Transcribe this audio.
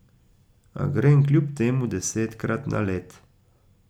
A grem kljub temu desetkrat na led.